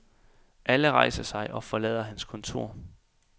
Alle rejser sig og forlader hans kontor.